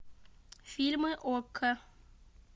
фильмы окко